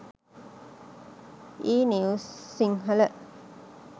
e news sinhala